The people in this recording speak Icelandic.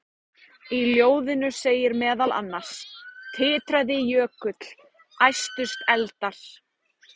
Í ljóðinu segir meðal annars: Titraði jökull, æstust eldar,